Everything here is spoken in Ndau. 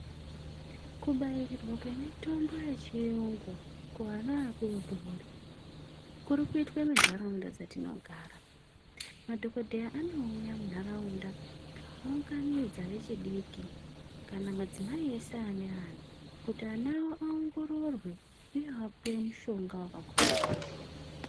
Kubairirwa kwemitombo yechiyungu kuana adodori kuri kuitwe mundaraunda dzetinogara . Madhokodheya anouya munharaunda ounganidza vechidiki kana madzimai ese ane ana kuti ana awo aongororwe uye apuwe mushonga wakakodzera.